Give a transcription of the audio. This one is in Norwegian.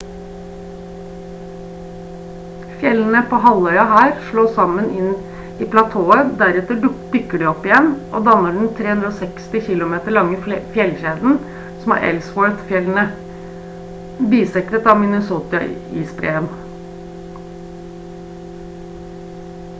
fjellene på halvøya her slås sammen inn i platået deretter dukker de opp igjen og danner den 360 km lange fjellkjeden som er ellsworth-fjellene bisektet av minnesota-isbreen